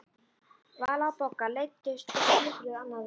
Vala og Bogga leiddust og kjökruðu annað veifið.